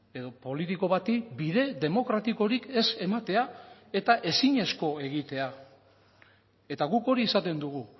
edo politiko bati bide demokratikorik ez ematea eta ezinezko egitea eta guk hori esaten dugu